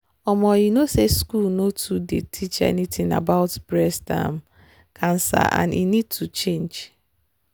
um you know say school nor too dey teach anything about breast um cancer and e need to change